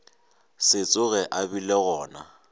se tsoge a bile gona